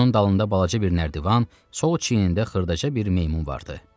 Onun dalında balaca bir nərdivan, sol çiyinində xırdaca bir meymun vardı.